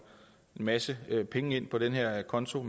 en masse penge ind på den her konto